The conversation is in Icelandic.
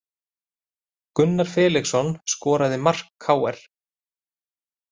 Gunnar Felixson skoraði mark KR